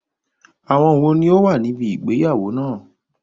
Àwọn wò ní ó wà níbi ìgbéyàwó náà?